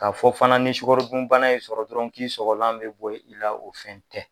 K'a fɔ fana ni sukarodunbana ye sɔrɔ dɔrɔn k'i sɔgɔlan bɛ bɔ i la o fɛn tɛ.